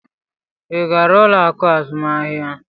Ị gara ụlọ akụ azụmahịa?